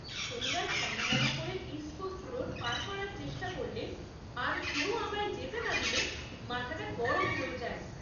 শনিবার সন্ধ্যাবেলা করে ইস্ট কোস্ট রোড পার করার চেষ্টা করলে আর কেউ আমায় যেতে না দিলে মাথাটা গরম হয়ে যায়।